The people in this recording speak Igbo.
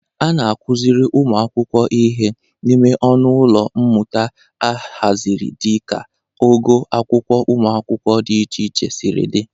A na-akụzịkwara ụmụ akwụkwọ ihe n'ime ọnụ ụlọ mmụta ahazịrị dịka ogo akwụkwọ ụmụ akwụkwọ dị iche iche siri dị.